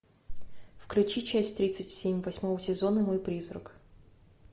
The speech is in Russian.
включи часть тридцать семь восьмого сезона мой призрак